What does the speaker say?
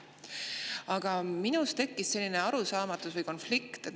Aga mul tekkis selline arusaamatus või konflikt.